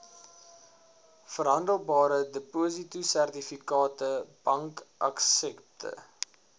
verhandelbare depositosertifikate bankaksepte